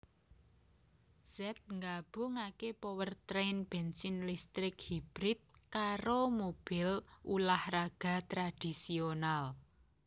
Z nggabungake powertrain bensin listrik hybrid karo mobil ulah raga tradisional